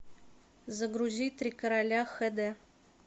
загрузи три короля хэ дэ